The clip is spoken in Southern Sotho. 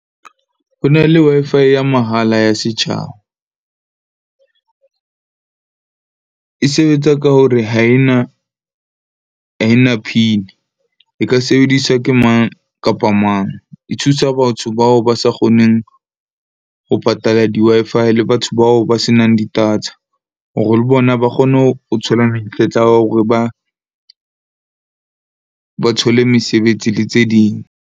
Ho na le Wi-Fi ya mahala ya setjhaba. E sebetsa ka hore, ha e na PIN-i. E ka sebediswa ke mang kapa mang. E thusa batho bao ba sa kgoneng ho patala di-Wi-Fi le batho bao ba se nang di-data hore le bona ba kgone ho thola monyetla wa hore ba thole mesebetsi le tse ding.